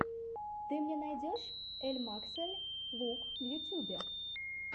ты мне найдешь эльмаксэль лук в ютубе